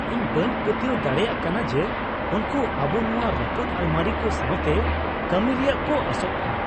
ᱤᱧ ᱵᱟᱹᱧ ᱯᱟᱹᱛᱭᱟᱹᱣ ᱫᱟᱲᱮᱭᱟᱜ ᱠᱟᱱᱟ ᱡᱮ ᱩᱱᱠᱩ ᱟᱵᱚ ᱱᱚᱶᱟ ᱨᱟᱹᱯᱩᱫ ᱟᱞᱢᱟᱨᱤ ᱠᱚ ᱥᱟᱣᱛᱮ ᱠᱟᱹᱢᱤ ᱨᱮᱭᱟᱜ ᱠᱚ ᱟᱸᱥᱚᱜ ᱠᱟᱱᱟ ᱾